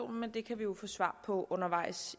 men det kan vi jo få svar på undervejs